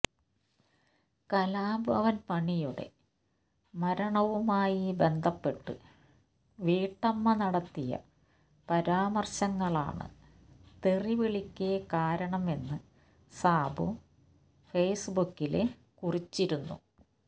കലാഭവന് മണിയുടെ മരണവുമായി ബന്ധപ്പെട്ട് വീട്ടമ്മ നടത്തിയ പരാമര്ശങ്ങളാണ് തെറിവിളിക്ക് കാരണം എന്ന് സാബു ഫേസ്ബുക്കില് കുറിച്ചിരുന്നു